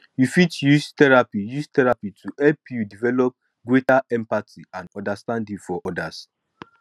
you fit use therapy use therapy to help you develop greater empathy and understanding for others